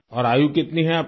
और आयु कितनी है आपकी